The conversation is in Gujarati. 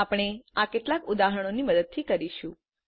આપણે આ કેટલાક ઉદાહરણોની મદદથી કરીશું